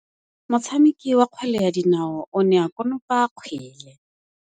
Motshameki wa kgwele ya dinaô o ne a konopa kgwele.